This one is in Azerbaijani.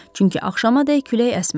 Çünki axşamaded külək əsmədi.